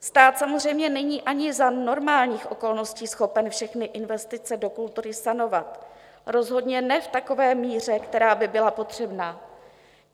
Stát samozřejmě není ani za normálních okolností schopen všechny investice do kultury sanovat, rozhodně ne v takové míře, která by byla potřebná.